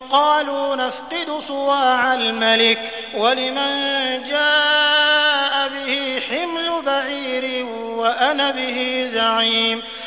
قَالُوا نَفْقِدُ صُوَاعَ الْمَلِكِ وَلِمَن جَاءَ بِهِ حِمْلُ بَعِيرٍ وَأَنَا بِهِ زَعِيمٌ